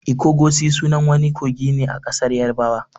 'Ikogosi'' sunan wani kogi ne a ƙasar yarabawa.